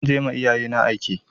Za je ma iyayena aike.